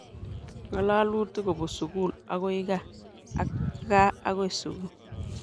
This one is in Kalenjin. Ng'alalutik kopun sukul akoi kaa ak kaa akoi sukul.